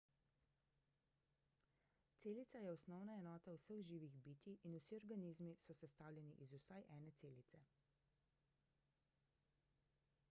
celica je osnovna enota vseh živih bitij in vsi organizmi so sestavljeni iz vsaj ene celice